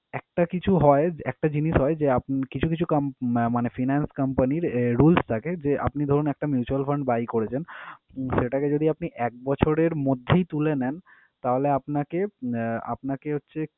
একটা কিছু হয় একটা জিনিস হয় যে আপনি কিছু কিছু com~ উম মানে finance company র আহ rules থাকে যে আপনি ধরুন একটা mutual fund buy করেছেন, সেটাকে যদি আপনি এক বছরের মধ্যেই তুলে নেন তাহলে আপনাকে আহ আপনাকে হচ্ছে